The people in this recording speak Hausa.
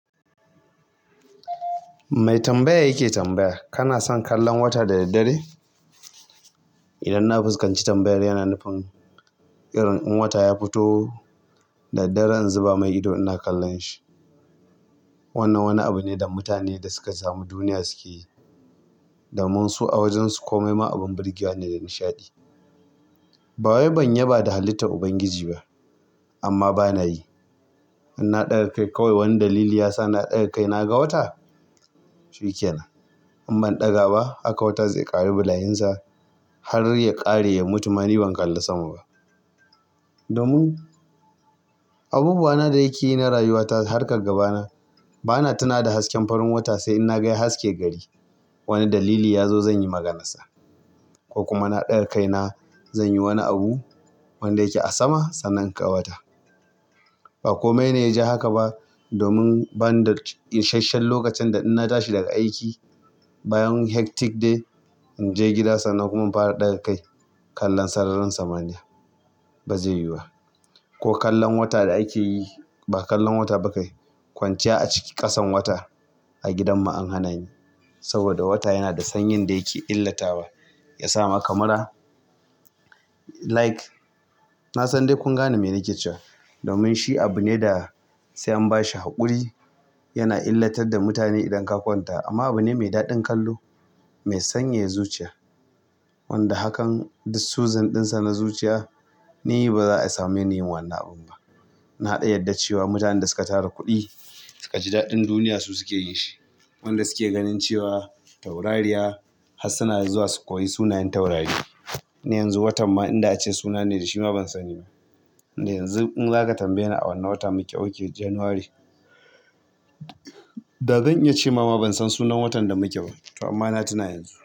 Mai tambaya yake tambaya. Kana son kallon wata da daddare? Idan na fuskanci tambayar yana nufin irin in wata ya fito daddare, zan zuba mai ido ina kallon shi. Wannan wani abu ne da mutanen da suka samu duniya suke yi domin su a wajen su komai ma abin burgewa ne da nishaɗi. Ba wai ban yaba da halitta Ubangiji ba amma ba na yi. In na ɗaga kai kawai wani dalili ya sa na ɗaga kaina ga wata? Shikenan. In ban ɗaga ba haka wata zai ƙare bulayinsa har ya ƙare ya mutu ma ni ban kalla sama ba. Domin abubuwana da nakeyi na rayuwata harkar gaba ta ba na tuna da hasken farin wata sai in na ga ya haske gari. Wani dalili yazo zanyi maganarsa ko kuma na ɗaga kaina zanyi wani abu wanda yake a sama, sannan inga wata. Ba komai ne ya ji haka ba domin bani da isasshen lokacin da in na tashi daga aiki bayan hectic day in je gida sannan kuma in fara ɗaga kai kallon sararin samaniya. Ba zai yiwu ba ko kallon wata da ake yi ba kallon wata ba kai kwanciya a ciki kasan wata. A gidan mu an hanani, saboda wata yana da sanyin da yake illatawa yasa maka mura, like, na san dai kun gane mene ke cewa domin shi abu ne da sai an bashi haƙuri. Yana illatar da mutane idan ka kwanta amma abu ne mai daɗin kallo mai sanyaya zuciya. Wanda hakan dis suzin ɗinsa na zuciya ni ba za'a samu ni yin wannan abin ba. Na ɗan yadda cewa mutanen da suka tara kuɗi suka ji daɗin duniya suke yin shi. Wanda suke ganin cewa taurariya har suna zuwa su koyi sunayen taurari. Ne yanzu wata ma in da ace suna ne da shi ma ban sani ba. Ni yanzu in zaka tambaye ni a wani watan mu ke okay January. Da zan iya ce ma bana ban san sunan watan da muke ba amma na tuna yanzu.